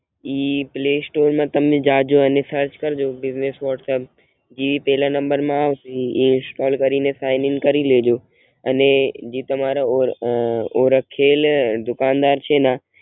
ઇ play store મા તમે જાજો અને સરચ કરજો બીજનેસ વોટ્સપ જે પેલા નંબર માં આવે ઈ ઇંસ્ટોલ કરીને સાઇન ઇન કરી લેજો અને જે તમારા ઓળખેલ દુકાન દર છે ન